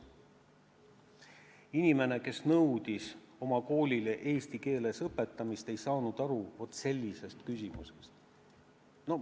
Sest inimene, kes nõudis oma koolis eesti keeles õpetamist, ei saanud aru vaat sellisest küsimusest.